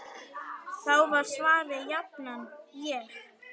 Þá var svarið jafnan: Ég?!